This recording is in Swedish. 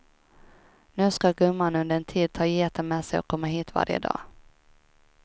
Nu ska gumman under en tid ta geten med sig och komma hit varje dag.